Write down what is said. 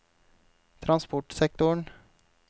transportsektoren